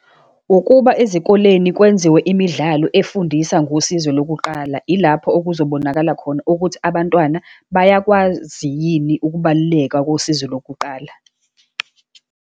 Ukuba ezikoleni kwenziwe imidlalo efundisa ngosizo lokuqala. Ilapho okuzobonakala khona ukuthi abantwana bayakwazi yini ukubaluleka kosizo lokuqala.